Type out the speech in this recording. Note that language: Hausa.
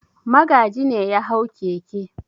Magaji ne ya hau keke.